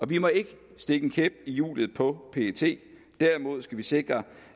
vi må ikke stikke en kæp i hjulet på pet derimod skal vi sikre